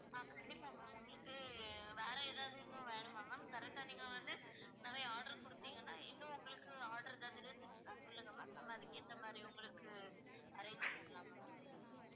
ஆஹ் கண்டிப்பா ma'am உங்களுக்கு வேற ஏதாவது இன்னும் வேணுமா ma'am correct ஆ நீங்க வந்து நிறைய order குடுத்தீங்கன்னா இன்னும் உங்களுக்கு order ஏதாவது இருந்துச்சுன்னா சொல்லுங்க ma'am நம்ம அதுக்கு ஏத்த மாதிரி உங்களுக்கு arrange பண்ணிடலாம் ma'am